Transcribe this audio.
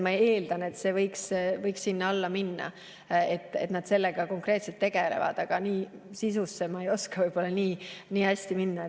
Ma eeldan, et see võiks sinna alla minna, et nad sellega konkreetselt tegelevad, aga nii sisusse ma ei oska võib-olla nii hästi minna.